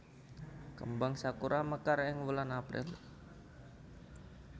Kembang sakura mekar ing wulan April